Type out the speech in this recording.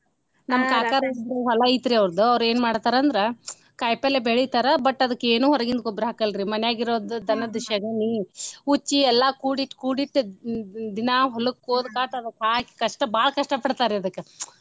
ನಮ್ ಕಾಕಾರ ಇಬ್ಬರ ಹೊಲಾ ಐತ್ರೀ ಅವರ್ದ ಅವ್ರ ಏನ ಮಾಡ್ತಾರಂದ್ರ ಕಾಯಿಪಲ್ಲೆ ಬೆಳಿತಾರ but ಅದಕ್ಕ ಏನು ಹೊರಗಿನ ಗೊಬ್ಬರಾ ಹಾಕಲ್ಲರಿ ಮನ್ಯಾಗ ಇರೋದ ದನದ್ ಶೆಗನಿ ಉಚ್ಚಿ ಎಲ್ಲಾ ಕೂಡಿ ಇಟ್ ಕೂಡಿ ಇಟ್ ದಿನಾ ಹೊಲಕ್ಕ ಓದ ಕಾಸ ಅದಕ್ಕ ಹಾಕಿ ಕಷ್ಟ ಬಾಳ ಕಷ್ಟಾ ಪಡತಾರಿ ಅದಕ್ಕ.